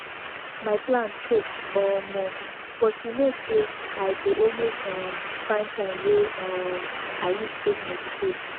my plan choke omo but you know say i go always um find time wey um i use take meditate